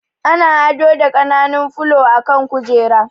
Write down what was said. Ana ado da ƙananun fulo a kan kujera